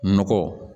Nɔgɔ